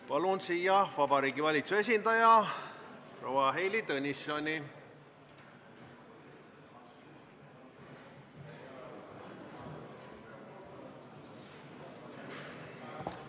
Palun siia Vabariigi Valitsuse esindaja proua Heili Tõnissoni!